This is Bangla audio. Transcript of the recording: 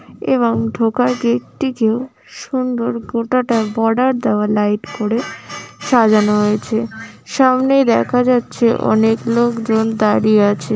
এবং ঢোকার গেট টিকেও সুন্দর গোটাটাই বর্ডার দেওয়া লাইট করে সাজানো হয়েছে। সামনেই দেখা যাচ্ছে অনেক লোকজন দাঁড়িয়ে আছে।